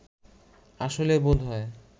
আসলে বোধহয়